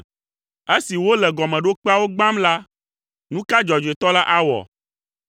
Esi wole gɔmeɖokpeawo gbãm la, nu ka dzɔdzɔetɔ la awɔ?”